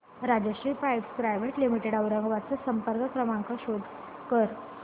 Rajshri pipes private limited Aurangabad चा संपर्क क्रमांक शो कर